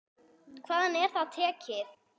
Hvaðan er það tekið?